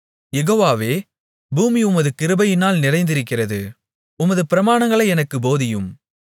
யெகோவாவே பூமி உமது கிருபையினால் நிறைந்திருக்கிறது உமது பிரமாணங்களை எனக்குப் போதியும்